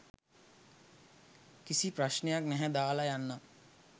කිසි ප්‍රශ්නයක් නැහැ දාලා යන්නම්.